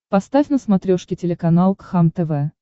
поставь на смотрешке телеканал кхлм тв